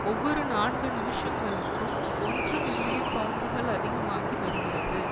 ஒவ்வொரு நான்கு நிமிஷங்களுக்கும் ஒன்று மில்லியன் பவுண்டுகள் அதிகமாகி வருகிறது